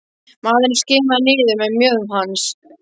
Maðurinn skimaði niður með mjöðm hans.